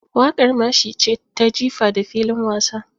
Waƙar mashi ce ta jifa da filin wasa.